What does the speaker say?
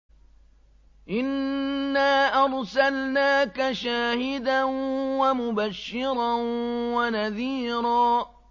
إِنَّا أَرْسَلْنَاكَ شَاهِدًا وَمُبَشِّرًا وَنَذِيرًا